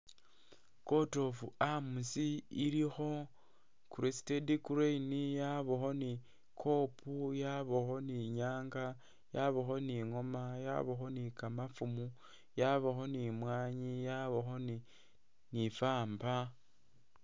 Court of arms ilikho crested crane yabakho ni kob yabakho ni nyanga yabakho ni ngoma yabakho ni kamafumu yabakho ni mwanyi yabakho ni famba.